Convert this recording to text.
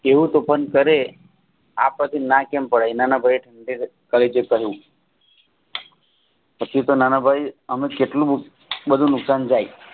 તેઓ તોફાન કરે આ પરથી ના કેમ પડાય નાનાભાઈ તમે જે કહ્યું પછી તો નાનાભાઈ એનું જ કેટલું બધું નુકસાન જાય